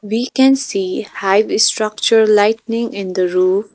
We can see hive structure lightening in the roof.